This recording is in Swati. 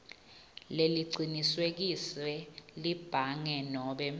lelicinisekiswe libhange nobe